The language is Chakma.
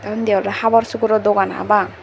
the undi ole habor suboro Dogan parapang.